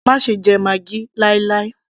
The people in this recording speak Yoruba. má ṣe jẹ maggi láì láì